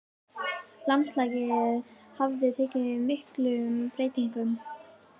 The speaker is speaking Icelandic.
Landslagið hafði tekið miklum breytingum.